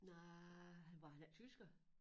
Nej han var han ikke tysker